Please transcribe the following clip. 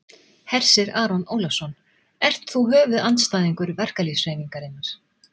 Hersir Aron Ólafsson: Ert þú höfuðandstæðingur verkalýðshreyfingarinnar?